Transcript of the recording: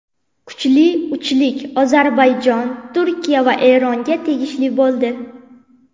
Kuchli uchlik Ozarbayjon, Turkiya va Eronga tegishli bo‘ldi.